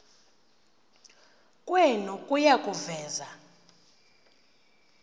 kwenu kuya kuveza